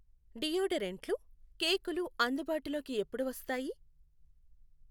డియోడరెంట్లు, కేకులు అందుబాటులోకి ఎప్పుడు వస్తాయి?